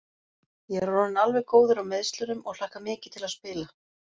Ég er orðinn alveg góður á meiðslunum og hlakka mikið til að spila.